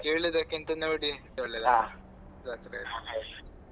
ಕೇಳುದಕ್ಕಿಂದ ನೋಡಿಯೇ ಒಳ್ಳೇದಲ್ವಾ .